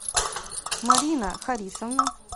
марина харисовна